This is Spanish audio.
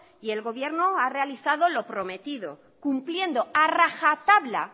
y el gobierno ha realizado lo prometido cumpliendo a raja tabla